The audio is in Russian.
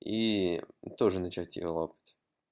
и тоже начать её лопать